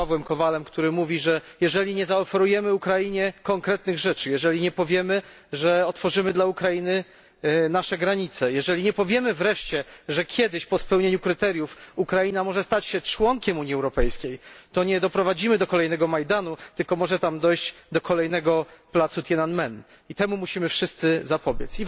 z Pawłem Kowalem, który mówi, że jeżeli nie zaoferujemy Ukrainie konkretnych rzeczy, jeżeli nie powiemy, że otworzymy dla Ukrainy nasze granice, jeżeli nie powiemy wreszcie, że kiedyś po spełnieniu kryteriów Ukraina może stać się członkiem Unii Europejskiej, to nie doprowadzimy do kolejnego Majdanu, ale może tam dojść do kolejnego placu Tian'anmen i temu musimy wszyscy zapobiec.